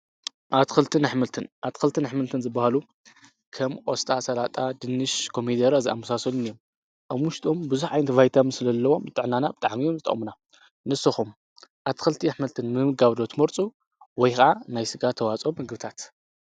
ልንኣትክልትን ኣኅምልትን ዝበሃሉ ከም ቖስጣ ሠላጣ ድንሽ ኮሚይደሮ ዝኣምሳሶልንእዮም ኣብሙሽጦም ብዙኅ ኣይንቲ ባይታ ምስለለዎም ጠዕናናብ ጠዓምዮም ዝተምና ንስኹም ኣትክልቲ ኣኅመልትን ምምጋብዶ ትመርፁ ወይኸዓ ናይሥጋ ተዋጾም ኣግብታት።